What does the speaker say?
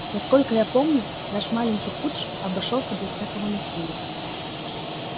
насколько я помню наш маленький путч обошёлся без всякого насилия